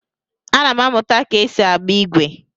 Ana m amụta ka esi agba igwe.